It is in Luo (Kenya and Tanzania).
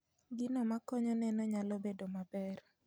Gigo makonyo neno nyalo bedo maber